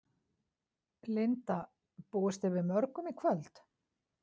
Linda: Búist þið við mörgum í kvöld?